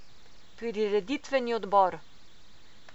Prireditveni odbor.